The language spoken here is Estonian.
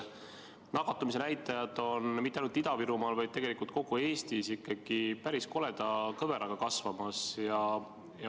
Nakatumisnäitajad on mitte ainult Ida-Virumaal, vaid tegelikult kogu Eestis ikkagi päris koleda kõveraga kasvamas.